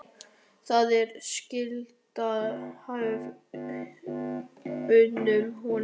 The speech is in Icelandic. Það er skítalykt af honum núna.